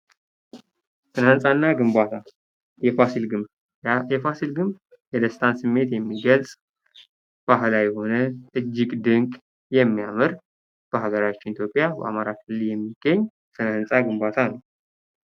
ስነ-ህንፃና ግንባታ የፋሲል ግንብ:- የፋሲል ግንብ የደስታን ስሜት የሚገልጽ፥ ባህላዊ የሆነ፥ እጅግ ድንቅ፥ የሚያምር፥ በሀገራችን ኢትዮጵያ በአማራ ክልል የሚገኝ የስነ-ህንፃ ግንባታ ነው።